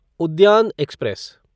उद्यान एक्सप्रेस